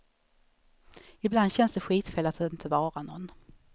Ibland känns det skitfel att inte vara någon.